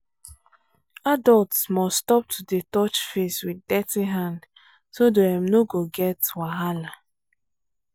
adults must stop to dey touch face with dirty hand so dem no go get wahala.